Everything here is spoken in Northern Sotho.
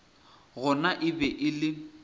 gona e be e le